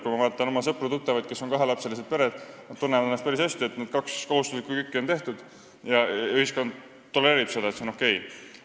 Kui ma vaatan oma sõpru-tuttavaid, kelle peres on kaks last, siis nad tunnevad ennast päris hästi: kaks kohustuslikku kükki on tehtud ja ühiskond tolereerib seda, see on okei.